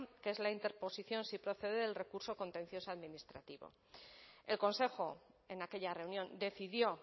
que es la interposición si procede del recurso contencioso administrativo el consejo en aquella reunión decidió